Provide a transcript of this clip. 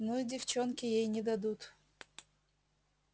ну и девчонки ей не дадут